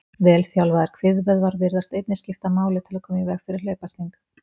Vel þjálfaðir kviðvöðvar virðast einnig skipta máli til að koma í veg fyrir hlaupasting.